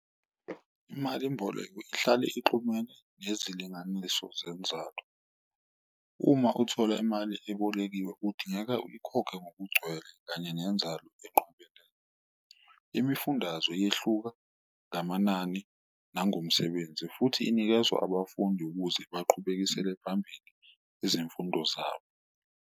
Imalimboleko ihlale ixhumene nezilinganiso zenzalo uma uthola imali ebolekiwe udingeka uyikhokhe ngokugcwele kanye nenzalo . Imifundazwe yehluka ngamanani nangomsebenzi futhi inikezwa abafundi ukuze baqhubekisele phambili izimfundo zabo.